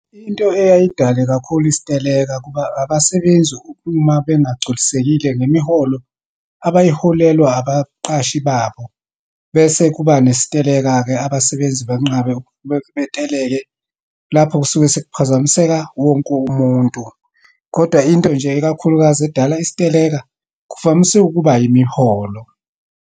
Into eyayidale kakhulu isiteleka, kuba abasebenzi uma bengagculisekile ngemiholo abayiholelwa abaqashi babo. Bese kuba nesiteleka-ke, abasebenzi banqabe beteleke, lapho kusuke sekuphazamiseka wonke umuntu. Kodwa into nje, ikakhulukazi edala isiteleka kuvamise ukuba imiholo.